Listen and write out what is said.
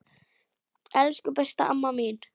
Elsku, besta amma mín.